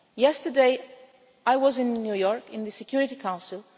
Yesterday I was in New York at the Security Council.